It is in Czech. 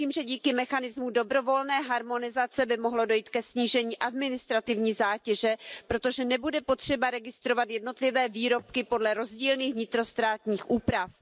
Věřím, že díky mechanismu dobrovolné harmonizace by mohlo dojít ke snížení administrativní zátěže, protože nebude potřeba registrovat jednotlivé výrobky podle rozdílných vnitrostátních úprav.